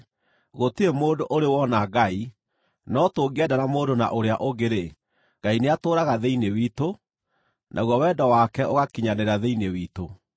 Gũtirĩ mũndũ ũrĩ ona Ngai; no tũngĩendana mũndũ na ũrĩa ũngĩ-rĩ, Ngai nĩatũũraga thĩinĩ witũ, naguo wendo wake ũgakinyanĩra thĩinĩ witũ.